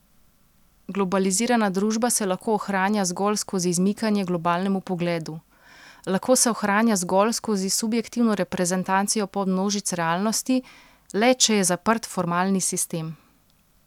Globalizirana družba se lahko ohranja zgolj skozi izmikanje globalnemu pogledu, lahko se ohranja zgolj skozi subjektivno reprezentacijo podmnožic realnosti, le, če je zaprt formalni sistem.